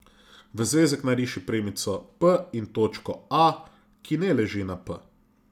V zvezek nariši premico p in točko A, ki ne leži na p.